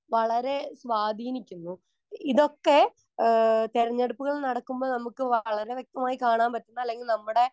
Speaker 1 വളരെ സ്വാധീനിക്കുന്നു. ഇതൊക്കെ ആഹ് തിരഞ്ഞെടുപ്പുകൾ നടക്കുമ്പോൾ നമുക്ക് വളരെ വ്യക്തമായി കാണാൻ പറ്റുന്ന അല്ലെങ്കിൽ നമ്മടെ